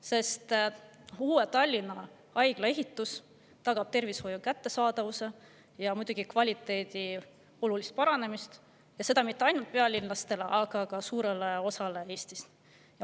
Sest Tallinna Haigla ehitus tagab tervishoiu kättesaadavuse ja muidugi kvaliteedi olulise paranemise, ja seda mitte ainult pealinlastele, vaid suurele osale Eestist.